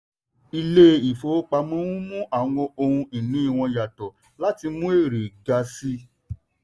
ilé ìfowópamọ́ n mú àwọn ohun ìní wọn yàtọ̀ láti mú èrè ga sí i.